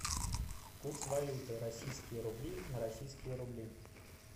курс валюты российские рубли на российские рубли